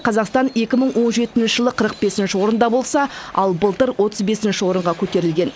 қазақстан екі мың он жетінші жылы қырық бесінші орында болса ал былтыр отыз бесінші орынға көтерілген